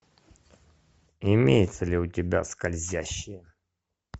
имеется ли у тебя скользящие